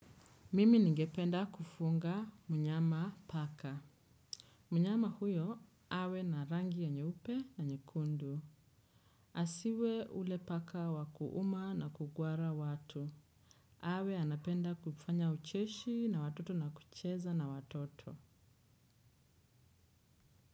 Mimi ningependa kufunga mnyama paka. Mnyama huyo, awe na rangi ya nyeupe na nyekundu. Asiwe ule paka wa kuuma na kugwara watu. Awe anapenda kufanya ucheshi na watoto na kucheza na watoto.